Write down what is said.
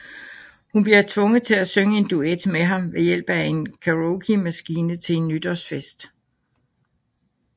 Hun bliver tvunget til at synge en duet med ham ved hjælp af en karaokemaskine til en nytårsfest